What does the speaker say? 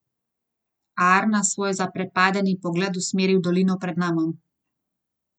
Arna svoj zaprepadeni pogled usmeri v dolino pred nama.